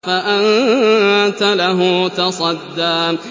فَأَنتَ لَهُ تَصَدَّىٰ